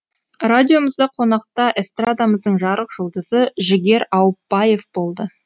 радиомызда қонақта эстрадамыздың жарық жұлдызы жігер ауыпбаев болды